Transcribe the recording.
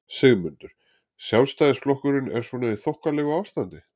Sigmundur: Sjálfstæðisflokkurinn er svona í þokkalegu ástandi?